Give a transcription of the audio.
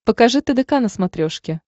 покажи тдк на смотрешке